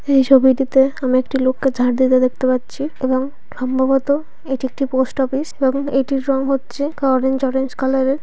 এই ছবিটিতে আমি একটি লোককে ঝাঁট দিতে দেখতে পাচ্ছি এবং সম্ভবত এটি একটি পোস্ট অফিস এবং এটির রং হচ্ছে অরেঞ্জ অরেঞ্জ কালার -এর।